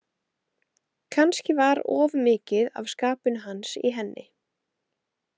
Kannski var of mikið af skapinu hans í henni.